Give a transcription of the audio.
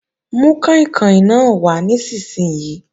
Mú kàìnkàìn náà wà nísinsìnyí!